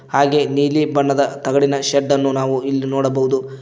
ಹಾಗೆ ನೀಲಿ ಬಣ್ಣದ ತಗಡಿನ ಶೆಡ್ಡನ್ನು ನಾವು ಇಲ್ಲಿ ನೋಡಬಹುದು.